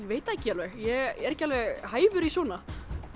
veit það ekki alveg ég er ekki alveg hæfur í svona